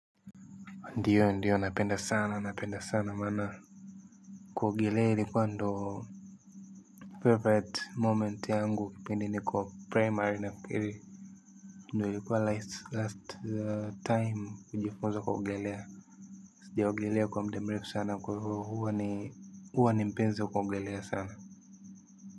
Ndiyo ndiyo napenda sana napenda sana maana kuogelea ilikuwa ndo favorite moment yangu kipindi nikiwa primary nafikiri ndo ilikuwa last time kujifunza kuogelea sijaogelea kwa muda mrefu sana kwa hivo huwa ni mpenzi kuogelea sana.